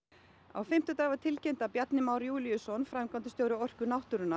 á fimmtudaginn var tilkynnt að Bjarni Már Júlíusson framkvæmdastjóri Orku náttúrunnar